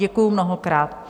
Děkuji mnohokrát.